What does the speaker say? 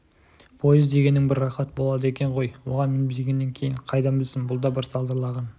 пойыз дегенің бір рақат болады екен ғой оған мінбегеннен кейін қайдан білсін бұл да бір салдырлаған